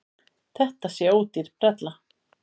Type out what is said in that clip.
Þetta sé ódýr brella.